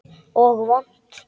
Og vont.